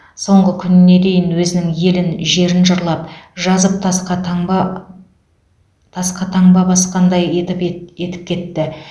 соңғы күніне дейін өзінің елін жерін жырлап жазып тасқа таңба тасқа таңба басқандай етіп ет етіп кетті